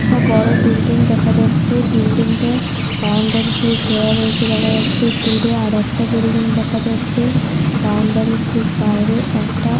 আর বাইরে থাম্বা টাইপের রয়েছে দেখা যাচ্ছে।